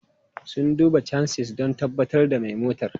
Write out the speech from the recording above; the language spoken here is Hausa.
Sun duba chassis don tabbatar da mai motar.